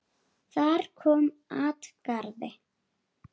Þar kom at garði